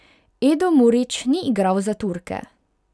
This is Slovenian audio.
Edo Murić ni igral za Turke.